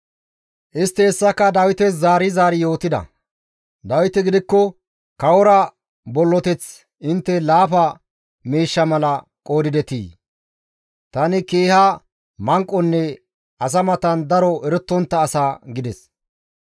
Istti hessaka Dawites zaari zaari yootida; Dawiti gidikko, «Kawora bolloteth intte laafa miishsha mala qoodidetii? Tani keeha manqonne asa matan daro erettontta asa» gides.